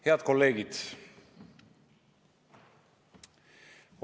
Head kolleegid!